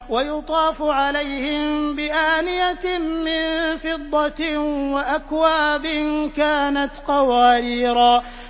وَيُطَافُ عَلَيْهِم بِآنِيَةٍ مِّن فِضَّةٍ وَأَكْوَابٍ كَانَتْ قَوَارِيرَا